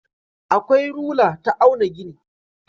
Akwai rula ta auna gini.